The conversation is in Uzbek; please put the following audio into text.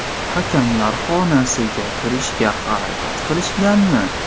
Hakamlar xonasiga kirishga harakat qilishmaganmi?